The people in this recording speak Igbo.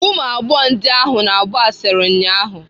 Ụmụ agbọghọ ndị ahụ na-agba asịrị ụnyaahụ